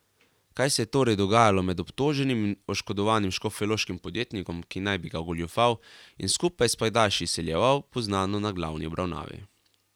Kaj se je torej dogajalo med obtoženim in oškodovanim škofjeloškim podjetnikom, ki naj bi ga ogoljufal in skupaj s pajdaši izsiljeval, bo znano na glavni obravnavi.